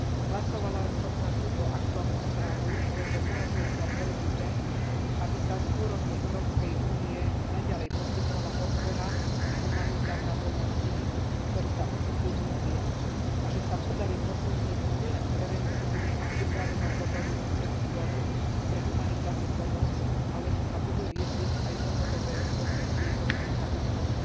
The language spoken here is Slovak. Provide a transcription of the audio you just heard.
Hlasovala som za túto aktuálnu správu, lebo považujem za dôležité, aby sa z úrovne Európskej únie naďalej poskytovala podpora a humanitárna pomoc tým, ktorí sa ocitli v núdzi, a že sa podarí posilniť nielen prevenciu a pripravenosť dobrovoľníckeho zboru pre humanitárnu pomoc, ale že sa budú riešiť aj dlhodobé dôsledky rôznych katastrof.